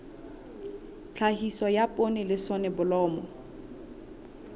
tlhahiso ya poone le soneblomo